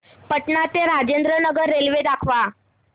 पटणा ते राजेंद्र नगर रेल्वे दाखवा